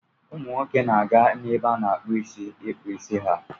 Ụmụ nwoke na-aga ebe a na-akpụ isi ịkpụ isi ha.